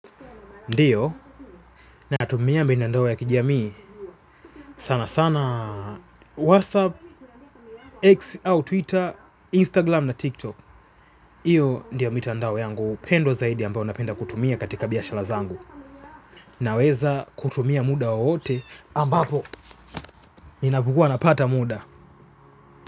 Ndio, na natumia mitandao ya kijamii. Sana sana, Whatsapp, X au Twitter, Instagram na TikTok. Hio ndio mitandao yangu, pendwa zaidi ambayo napenda kutumia katika biashara zangu. Naweza kutumia muda wowote ambapo, ninapokua napata muda.